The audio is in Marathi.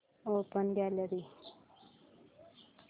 open gallery